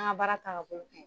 N ga baara taga bolo ka ɲi